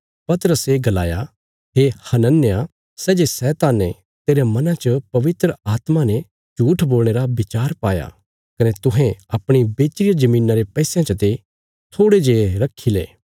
पतरसे गलाया हे हनन्याह सै जे शैताने तेरे मना च पवित्र आत्मा ने झूट्ठ बोलणे रा विचार पाया कने तुहें अपणी बेच्ची रिया धरतिया रे पैसयां चते थोड़े जे रखी लो